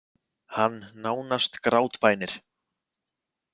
Hann nánast grátbænir.